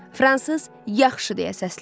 Fransız: "Yaxşı" deyə səsləndi.